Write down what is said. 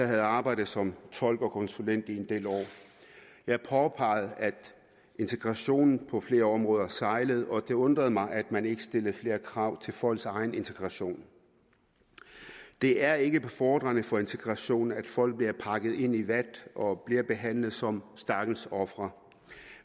havde arbejdet som tolk og konsulent i en del år jeg påpegede at integrationen på flere områder sejlede og det undrede mig at man ikke stillede flere krav til folks egen integration det er ikke befordrende for integrationen at folk bliver pakket ind i vat og bliver behandlet som stakkels ofre